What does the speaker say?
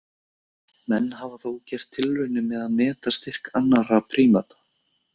Menn hafa þó gert tilraunir með að meta styrk annarra prímata.